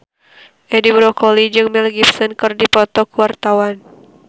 Edi Brokoli jeung Mel Gibson keur dipoto ku wartawan